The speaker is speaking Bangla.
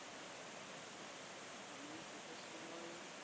আমি শীতের সময়